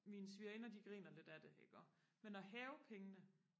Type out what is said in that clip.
mine svigerinder de griner lidt af det iggå men og hæve pengene